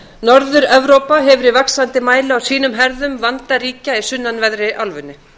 norður evrópa hefur í vaxandi mæli á sínum herðum vanda ríkja í sunnanverðri álfunni